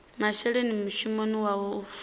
masheleni mushumoni wawe u fusha